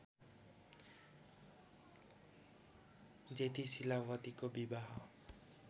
जेठी शीलावतीको विवाह